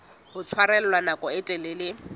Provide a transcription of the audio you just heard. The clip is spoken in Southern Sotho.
ho tshwarella nako e telele